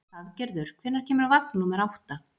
Hlaðgerður, hvenær kemur vagn númer átta?